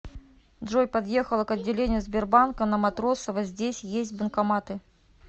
джой подъехала к отделению сбербанка на матросова здесь есть банкоматы